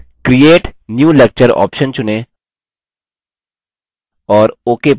अब create new lecture option चुनें और ok पर click करें